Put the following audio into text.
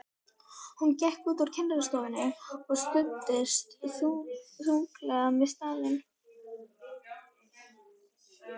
Hún gekk út úr kennslustofunni og studdist þunglega við stafinn.